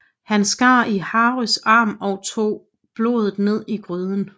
Han skar i Harrys arm og tog blodet ned i gryden